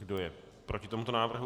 Kdo je proti tomuto návrhu?